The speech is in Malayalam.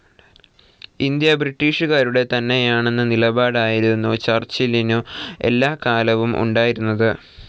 ഇന്ത്യ ബ്രിട്ടീഷുകാരുടെ തന്നെയാണെന്ന നിലപാടായിരുന്നു ചർച്ചിലിനു എല്ലാകാലവും ഉണ്ടായിരുന്നത്.